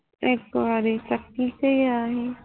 ਇੱਕ ਵਾਰੀ ਤਥੀ ਤੇ ਗਿਆ ਸੀ